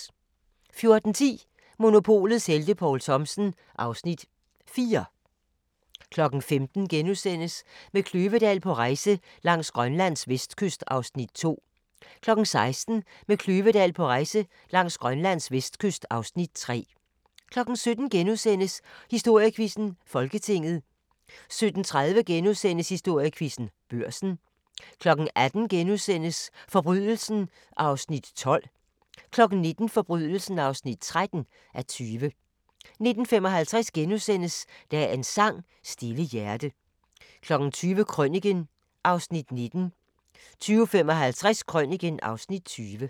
14:10: Monopolets helte - Poul Thomsen (Afs. 4) 15:00: Med Kløvedal på rejse langs Grønlands vestkyst (Afs. 2)* 16:00: Med Kløvedal på rejse langs Grønlands vestkyst (Afs. 3) 17:00: Historiequizzen: Folketinget * 17:30: Historiequizzen: Børsen * 18:00: Forbrydelsen (12:20)* 19:00: Forbrydelsen (13:20) 19:55: Dagens sang: Stille hjerte * 20:00: Krøniken (Afs. 19) 20:55: Krøniken (Afs. 20)